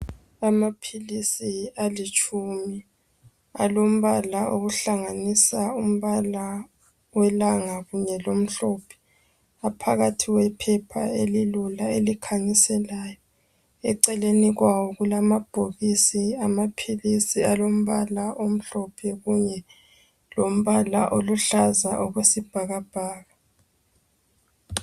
Amaphilisi alitshumi, alombala ohlanganisa umbala welangabi lelomhlophe. Aphakathi kwephepha elilula elikhanyiselayo. Eceleni kwawo kulamabhokisi amaphilisi alombala omhlophe kuye lombala oluhlaza okwesibhakabhaka.